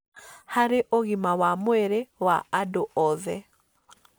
harĩ ũgima wa mwĩrĩ wa andũ othe.